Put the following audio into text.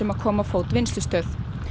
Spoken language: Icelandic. að koma á fót vinnslustöð